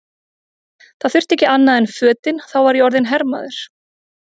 Það þurfti ekki annað en fötin, þá var ég orðinn hermaður!